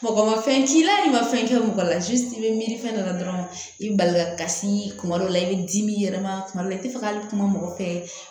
Mɔgɔ ma fɛn k'i la hali i ma fɛn kɛ mɔgɔ la i be miiri fɛn dɔ la dɔrɔn i be bali kasi kuma dɔ la i bɛ dimi yɛlɛma kuma dɔ la i ti fɛ ka kuma mɔgɔ fɛ